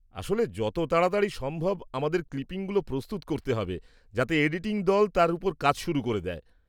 -আসলে যত তাড়াতাড়ি সম্ভব আমাদের ক্লিপিংগুলো প্রস্তুত করতে হবে যাতে এডিটিং দল তার ওপর কাজ শুরু করে দেয়।